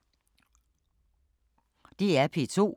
DR P2